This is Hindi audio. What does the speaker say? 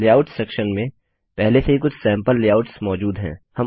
लेआउट्स सेक्शन में पहले से ही कुछ सैम्पल लेआउट्स मौजूद हैं